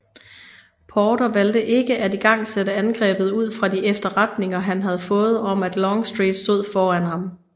Porter valgte ikke at igangsætte angrebet ud fra de efterretninger han havde fået om at Longstreet stod foran ham